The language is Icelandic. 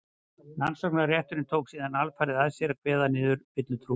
rannsóknarrétturinn tók síðan alfarið að sér að kveða niður villutrú